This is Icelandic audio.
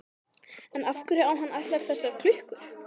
En af hverju á hann allar þessar klukkur?